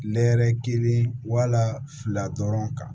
Nɛɛrɛ kelen wala fila dɔrɔn kan